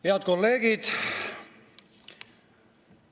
Head kolleegid!